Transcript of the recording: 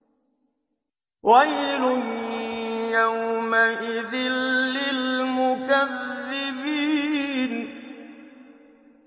وَيْلٌ يَوْمَئِذٍ لِّلْمُكَذِّبِينَ